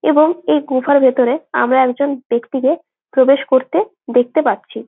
এবং এই গুহা ভিতরে আমরা একজন ব্যক্তিকে প্রবেশ করতে দেখতে পাচ্ছি।